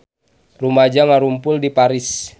Rumaja ngarumpul di Paris